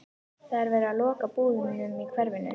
Það er verið að loka búðunum í hverfinu.